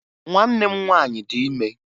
Nwanne m nwaanyị dị ime